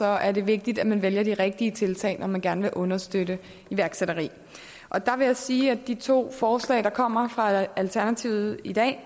er det vigtigt at man vælger de rigtige tiltag når man gerne vil understøtte iværksætteri der vil jeg sige at de to forslag der kommer fra alternativet i dag